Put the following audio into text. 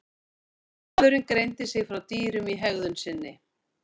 Maðurinn greindi sig frá dýrum í hegðun sinni.